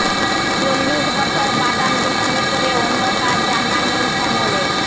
চল্লিশ বছর বাদাম বিক্রি করে অন্য কাজ জানা নেই শ্যামলের